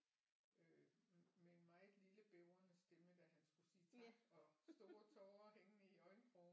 Øh med en meget lille bævrende stemme da han skulle sige tak og store tårer hængende i øjenkrogen